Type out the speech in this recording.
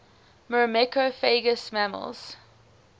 myrmecophagous mammals